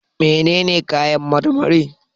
Menene kayan marmari?